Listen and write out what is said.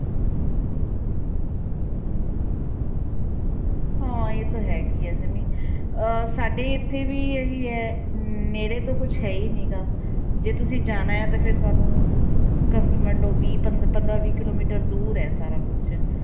ਹਾਂ ਇਹ ਤਾਂ ਹੈਗੀ ਹੈ ਸਿੰਮੀ ਅਹ ਸਾਡੇ ਇੱਥੇ ਵੀ ਇਹ ਹੀ ਹੈ ਨੇੜੇ ਤਾਂ ਕੁਛ ਹੈ ਹੀ ਨੀਗਾ, ਜੇ ਤੁਸੀਂ ਜਾਣਾ ਹੈ ਤੇ ਫਿਰ ਤੁਹਾਨੂੰ ਮੰਨ ਲਓ ਵੀਹ ਪੰਦ~ ਪੰਦਰਾਂ ਵੀਹ ਕਿੱਲੋਮੀਟਰ ਦੂਰ ਹੈ ਸਾਰਾ ਕੁਛ